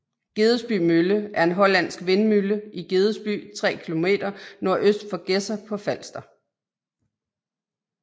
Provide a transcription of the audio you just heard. Gedesby Mølle er en hollandsk vindmølle i Gedesby 3 km nordøst for Gedser på Falster